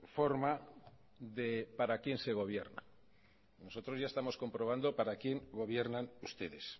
forma de para quién se gobierna nosotros ya estamos comprobando para quién gobiernan ustedes